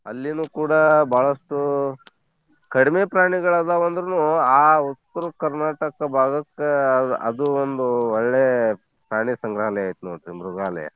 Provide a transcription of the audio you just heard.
ಅಲ್ಲೀನು ಕೂಡಾ ಬಾಳಷ್ಟೂ ಕಡಿಮೆ ಪ್ರಾಣಿಗಳದಾವ್ ಅಂದ್ರುನೂ ಆ ಉತ್ತರ ಕರ್ನಾಟಕ ಬಾಗಕ್ಕೆ ಅದ್~ ಅದು ಒಂದು ಒಳ್ಳೇ ಪ್ರಾಣಿ ಸಂಗ್ರಹಾಲಯ ಐತ್ ನೋಡ್ರಿ ಮೃಗಾಲಯ.